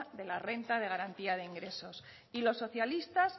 de la renta de garantía de ingresos y los socialistas